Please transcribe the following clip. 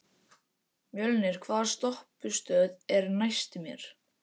Mjölnir, hvaða stoppistöð er næst mér?